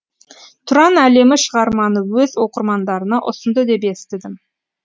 тұран әлемі шығарманы өз оқырмандарына ұсынды деп естідім